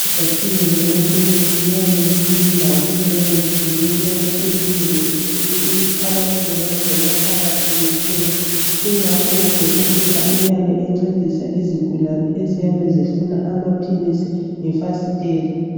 Izakhiwo zama kemisi ziyabe zizindawo eziyabe zizincinyane ezingenelisi ukuthi abantu bengangena phakathi bethenge kungakho udokotela uyabe encedisa izigulane eziyabe zifuna amaphilisi ngefasitela